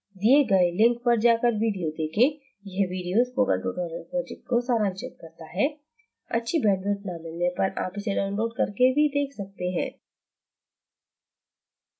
दिए गए link पर जाकर video देखें यह video spoken tutorial project को सारांशित करता है अच्छी bandwidth न मिलने पर आप इसे download करके भी देख सकते हैं